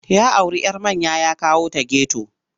Ya auri 'yar manya ya kawo ta geto.